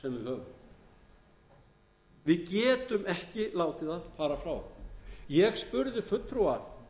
höfum við getum ekki látið það fara frá okkur ég spurði fulltrúa